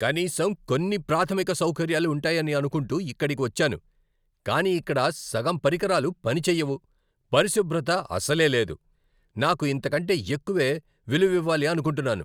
"కనీసం కొన్ని ప్రాథమిక సౌకర్యాలు ఉంటాయని అనుకుంటూ ఇక్కడికి వచ్చాను, కానీ ఇక్కడ సగం పరికరాలు పనిచెయ్యవు, పరిశుభ్రత అసలే లేదు. నాకు ఇంతకంటే ఎక్కువే విలువివ్వాలి అనుకుంటున్నాను."